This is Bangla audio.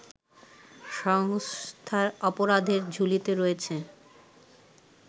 সংস্থার অপরাধের ঝুলিতে রয়েছে